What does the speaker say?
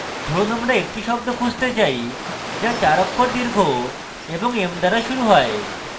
ধরুন আমরা একটি শব্দ খুঁজতে say যা 4 অক্ষর দীর্ঘ এবং m দ্বারা শুরু হয়